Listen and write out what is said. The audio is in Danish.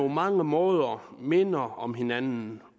mange måder minder om hinanden